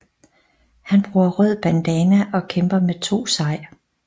Han bruger rød bandana og kæmper med to sai